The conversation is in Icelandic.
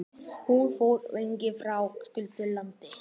Hún fór hvergi, frá köldu landi.